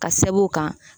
Ka sɛbɛn o kan